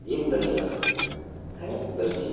gym करने का है दृश्य --